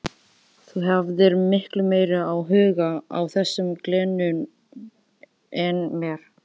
Þú hafðir miklu meiri áhuga á þessum glennum en mér.